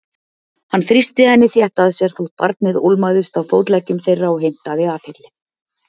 Hann þrýsti henni þétt að sér þótt barnið ólmaðist á fótleggjum þeirra og heimtaði athygli.